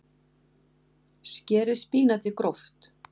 Skerið spínatið gróft.